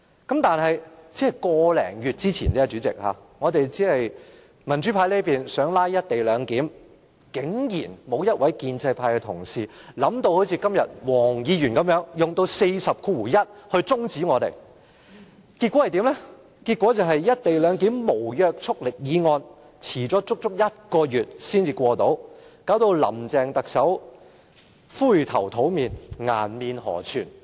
個多月前，民主派議員就"一地兩檢"議案"拉布"，竟然沒有一位建制派同事想到好像今天黃國健議員般，引用《議事規則》第401條中止辯論，結果"一地兩檢"這項無約束力的議案遲了足足一個月才能通過，令林鄭特首灰頭土臉，顏面無存。